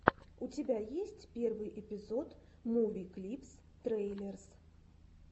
у тебя есть первый эпизод муви клипс трейлерс